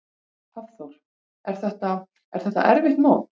Hafþór: Er þetta, er þetta erfitt mót?